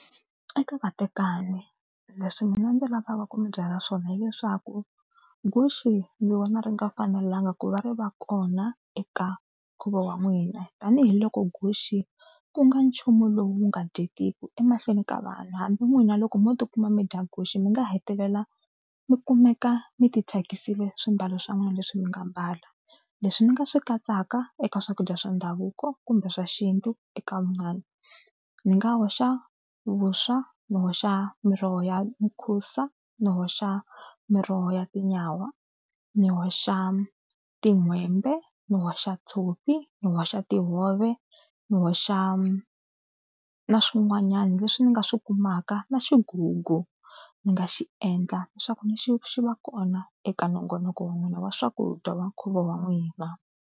Eka vatekani leswi mina ndzi lavaka ku mi byela swona hileswaku guxe ni vona ri nga fanelangi ku va ri va kona eka nkhuvo wa n'wina tanihiloko guxe ku nga nchumu lowu nga dyekiku emahlweni ka vanhu hambi n'wina loko mo tikuma mi dya guxe mi nga hetelela mi kumeka mi tithyakisile swimbalo swa n'wina leswi mi nga mbala. Leswi mi nga swi katsaka eka swakudya swa ndhavuko kumbe swa xintu eka ni nga hoxa vuswa, ni hoxa miroho ya mukhusa, ni hoxa miroho ya tinyawa, ni hoxa tin'hwembe, ni hoxa tshopi, ni hoxa tihove, ni hoxa na swin'wanyana leswi ni nga swi kumaka na xigugu ni nga xi endla leswaku ni xi xi va kona eka nongonoko wa n'wina wa swakudya wa nkhuvo wa n'wina.